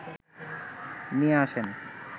নিয়ে আসেন